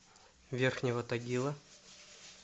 верхнего тагила